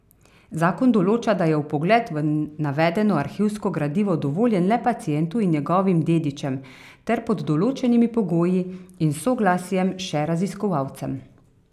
Zakon določa, da je vpogled v navedeno arhivsko gradivo dovoljen le pacientu in njegovim dedičem ter pod določenimi pogoji in s soglasjem še raziskovalcem.